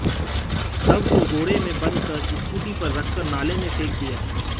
शव को बोरे में बंद कर स्कूटी पर रखकर नाले में फेंक दिया